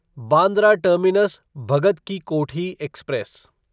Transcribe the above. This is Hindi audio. Bandra terminus Bhagat Ki Kothi express